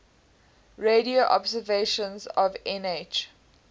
radio observations of nh